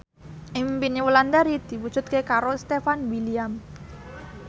impine Wulandari diwujudke karo Stefan William